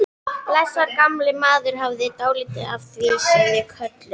Blessaður gamli maðurinn hafði dálítið af því sem við köllum